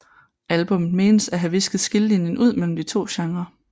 Albummet menes at have hvisket skillelinjen ud mellem de to genre